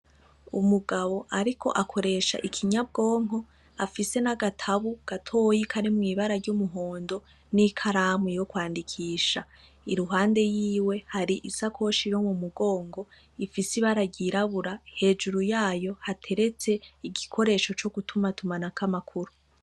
Umugabo, ariko akoresha ikinyabwonko afise n'agatabu gatoyi kari mw'ibara ry'umuhondo n'ikalamu yo kwandikisha iruhande yiwe hari isakoshi riro mu mugongo ifise ibarayirabura hejuru yayo hateretse igikoresho co gutuma tuma na ko'amakuru.